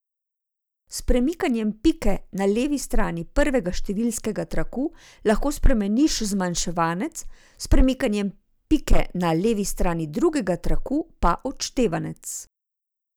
S premikanjem pike na levi strani prvega številskega traku lahko spremeniš zmanjševanec, s premikanjem pike na levi strani drugega traku pa odštevanec.